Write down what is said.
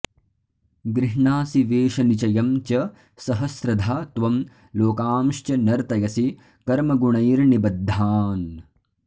गृह्णासि वेषनिचयं च सहस्रधा त्वं लोकांश्च नर्तयसि कर्मगुणैर्निबद्धान्